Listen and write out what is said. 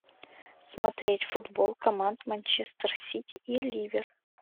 смотреть футбол команд манчестер сити и ливер